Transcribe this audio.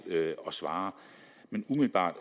at svare men umiddelbart